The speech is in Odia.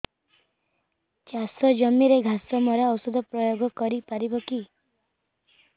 ଚାଷ ଜମିରେ ଘାସ ମରା ଔଷଧ ପ୍ରୟୋଗ କରି ପାରିବା କି